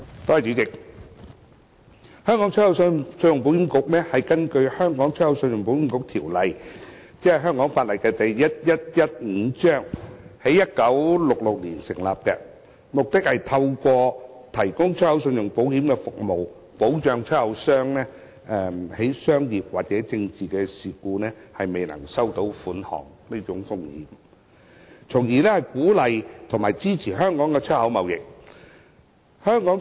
主席，香港出口信用保險局根據《香港出口信用保險局條例》，即香港法例第1115章，在1966年成立，目的是透過提供出口信用保險服務，保障出口商因商業或政治事故，未能收取款項的風險，從而鼓勵和支持香港出口貿易。